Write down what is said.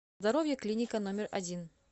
здоровье клиника номер один